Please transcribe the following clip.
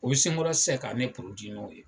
U bɛ se n kɔrɔ sisan ka ne